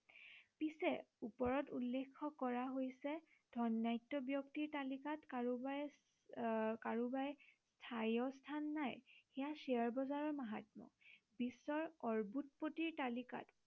পিছে ওপৰত উল্লেখ্য় কৰা হৈছে ধৰ্নাঢ্য় ব্য়ক্তিৰ তালিকাত কাৰোবাই উম কাৰোবাৰ স্থায়ী স্থান নাই সেয়া শ্বেয়াৰ বজাৰৰ মাহাত্ম্য় বিশ্বৰ অৰবোতপতিৰ তালিকাত